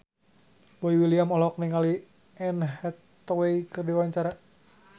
Boy William olohok ningali Anne Hathaway keur diwawancara